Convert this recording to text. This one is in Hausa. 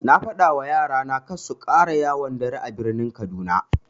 Na fadawa yara na karsu ƙara yawon dare a birnin kaduna.